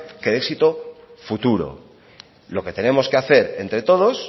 que de éxito futuro lo que tenemos que hacer entre todos